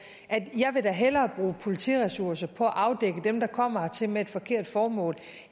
jeg vil da hellere bruge politiressourcer på at afdække dem der kommer hertil med et forkert formål